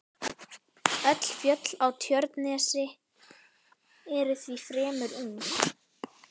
Öll fjöll á Tjörnesi eru því fremur ung.